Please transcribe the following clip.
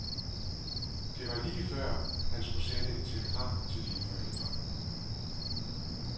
Det var lige før han skulle sende et telegram til dine forældre.